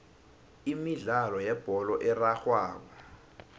imidlalo yebholo erarhwako